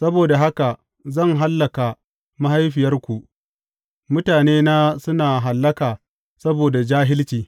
Saboda haka zan hallaka mahaifiyarku, mutanena suna hallaka saboda jahilci.